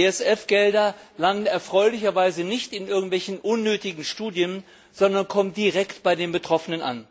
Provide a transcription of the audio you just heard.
ESF Gelder landen erfreulicherweise nicht in irgendwelchen unnötigen Studien, sondern kommen direkt bei den Betroffenen an.